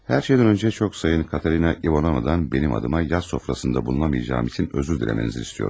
Hər şeydən öncə çox sayın Katerina İvanovnadan mənim adıma yay sofrasında bulunamayacağım üçün üzr diləmənizi istəyirəm.